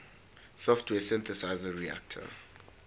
software synthesizer reaktor